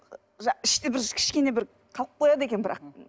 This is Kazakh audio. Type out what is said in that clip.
іште бір кішкене бір қалып қояды екен бірақ